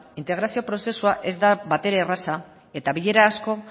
integrazio prozesua ez da batere erraza eta bilera asko